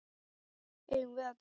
Eigum við að dansa?